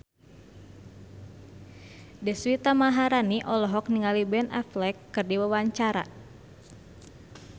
Deswita Maharani olohok ningali Ben Affleck keur diwawancara